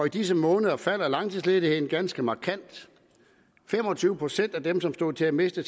i disse måneder falder langtidsledigheden ganske markant fem og tyve procent af dem som stod til at miste